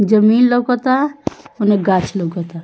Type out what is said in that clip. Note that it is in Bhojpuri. जमीन लोकता ओने गाछ लोकता।